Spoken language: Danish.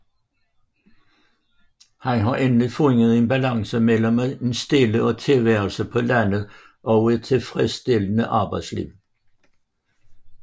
Han har endelig fundet en balance mellem en stille tilværelse på landet og et tilfredsstillende arbejdsliv